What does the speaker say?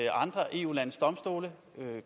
at andre eu landes domstole